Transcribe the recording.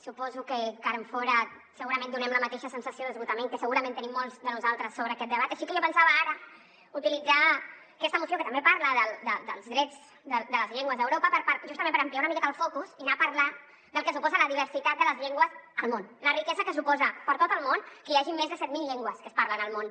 suposo que de cara enfora segurament donem la mateixa sensació d’esgotament que segurament tenim molts de nosaltres sobre aquest debat així que jo pensava ara utilitzar aquesta moció que també parla dels drets de les llengües d’europa justament per ampliar una miqueta el focus i anar a parlar del que suposa la diversitat de les llengües al món la riquesa que suposa per a tot el món que hi hagi més de set mil llengües que es parlen al món